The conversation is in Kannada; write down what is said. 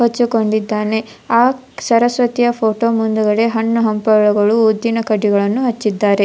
ಹೊಚ್ಚಿಕೊಂಡಿದ್ದಾನೆ ಆಕ್ ಸರಸ್ವತಿಯ ಫೊಟೊ ಮುಂದುಗಡೆ ಹಣ್ಣು ಹಂಪಲುಗಳು ಉದ್ದಿನ ಕಡ್ಡಿಗಳನ್ನು ಹಚ್ಚಿದ್ದಾರೆ.